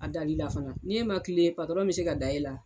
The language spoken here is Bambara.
A dalila fana n'e ma kilen patɔrɔn bi se ka da e la